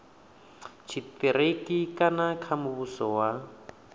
tshitiriki kana kha muvhuso wa